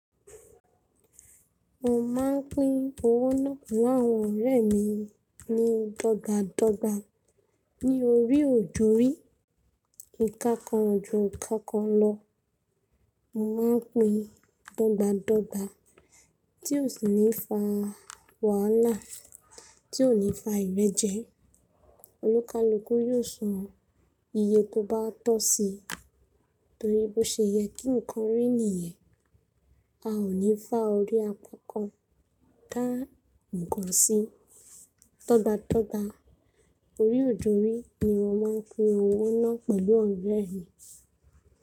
Mo máa ń pín owó náà pẹ̀lú àwọn ọ̀rẹ́ mi ní dọ́gbádọ́gbá. Ní orí òjorí, ìká kan ju ìká kan lọ, mo máa ń pín dọ́gbádọ́gbá, tí ò sì ní fa wàhálà, tí ò ní fa ìrẹ́jẹ. Olókálukú yóò sọ iye tó bá tọ́ si, torí bọ́ ṣe yẹ kí nǹkan ríni yẹn. A ò ní fá orí àkọ́kọ́ ká nǹkan sí. Tọ́dátọ́dá orí òjorí ni mo máa ń pín owó náà pẹ̀lú àwọn ọ̀rẹ́ mi.